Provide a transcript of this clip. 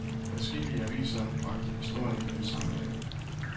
Adskillige aviser bragte historien den samme dag.